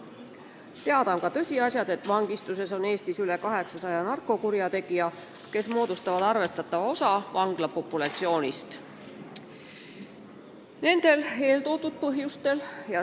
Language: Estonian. Teada on ka tõsiasjad, et Eestis on vangistuses üle 800 narkokurjategija, kes moodustavad arvestatava osa vanglapopulatsioonist.